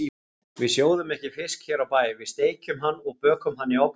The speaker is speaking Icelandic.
Við sjóðum ekki fisk hér á bæ, við steikjum hann og bökum hann í ofni.